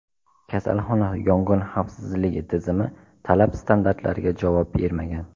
Kasalxona yong‘in xavfsizligi tizimi talab standartlariga javob bermagan.